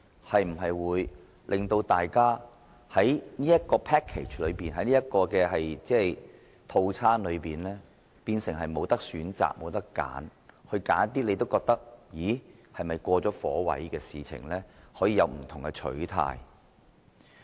這會否令大家在考慮這個 package 或所謂套餐時，變成沒有選擇，甚至對於自己認為是"過了火位"的選項，也不能有不同的取態？